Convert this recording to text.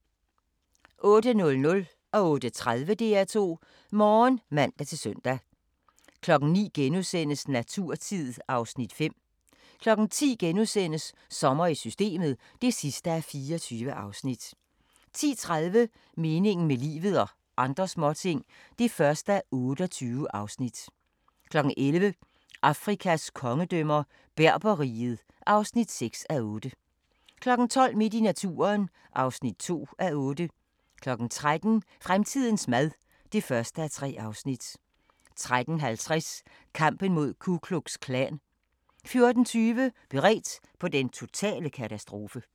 08:00: DR2 Morgen (man-søn) 08:30: DR2 Morgen (man-søn) 09:00: Naturtid (Afs. 5)* 10:00: Sommer i Systemet (24:24)* 10:30: Meningen med livet – og andre småting (1:28) 11:00: Afrikas kongedømmer – Berber-riget (6:8) 12:00: Midt i naturen (2:8) 13:00: Fremtidens mad (1:3) 13:50: Kampen mod Ku Klux Klan 14:20: Beredt på den totale katastrofe